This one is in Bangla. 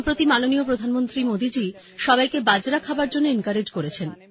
সম্প্রতি মাননীয় প্রধানমন্ত্রী মোদী জি সবাইকে বাজরা খাবার জন্য এনকোরেজ করেছেন